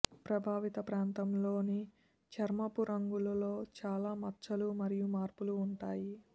ప్రభావిత ప్రాంతంలోని చర్మపు రంగులో చాలా మచ్చలు మరియు మార్పులు ఉంటాయి